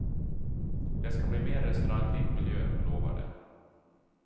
Det ska bli mer restauranglik miljö, lovar de.